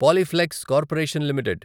Polyplex corporation limited